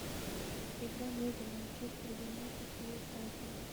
игра между манчестер юнайтед и брайтон